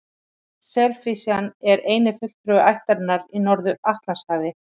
Selhnísan er eini fulltrúi ættarinnar í Norður-Atlantshafi.